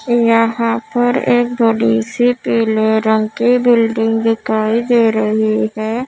यहाँ पर एक बड़ी सी पीले रंग की बिल्डिंग दिखाई दे रही है।